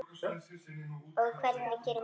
Og hvernig gerir maður það?